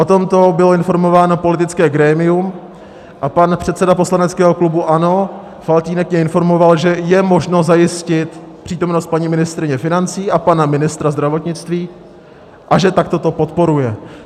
O tomto bylo informováno politické grémium a pan předseda poslaneckého klubu ANO Faltýnek mě informoval, že je možno zajistit přítomnost paní ministryně financí a pana ministra zdravotnictví a že takto to podporuje.